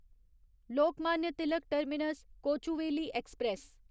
Lokmanya Tilak terminus Kochuveli express